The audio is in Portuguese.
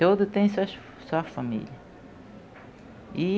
Todo tem suas sua família. E